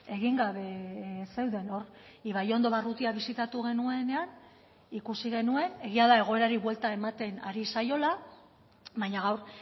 egin gabe zeuden hor ibaiondo barrutia bisitatu genuenean ikusi genuen egia da egoerari buelta ematen ari zaiola baina gaur